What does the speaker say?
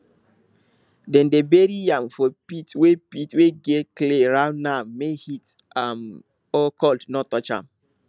dem dey bury yam for pit wey pit wey get clay round am make heat um or cold no touch am